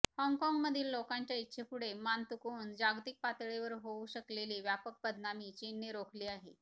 हाँगकाँगमधील लोकांच्या इच्छेपुढे मान तुकवून जागतिक पातळीवर होऊ शकलेली व्यापक बदनामी चीनने रोखली आहे